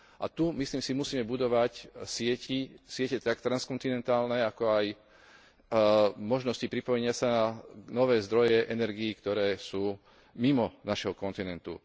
A tu, myslím si, musíme budovať siete tak transkontinentálne, ako aj možnosti pripojenia sa na nové zdroje energií, ktoré sú mimo nášho kontinentu.